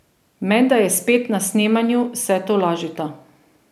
Menda je spet na snemanju, se tolažita.